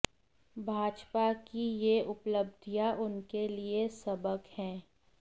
भाजपा की ये उपलब्धियां उनके लिए सबक हैं